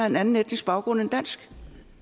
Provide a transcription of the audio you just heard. en anden etnisk baggrund end dansk